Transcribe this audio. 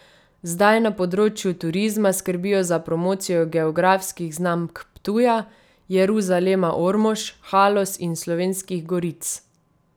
Zdaj na področju turizma skrbijo za promocijo geografskih znamk Ptuja, Jeruzalema Ormož, Haloz in Slovenskih goric.